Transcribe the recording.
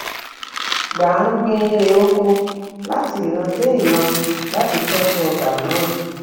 gbà ń gbin irè oko láti ìran dé ìran láti tójú ọgbà náà